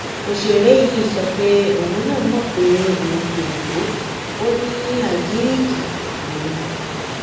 òṣèré yìí sọ pé òun náà mọ pé òun kò gbọ ọ ní àgíríìkì lòun